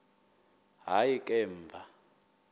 hayi ke emva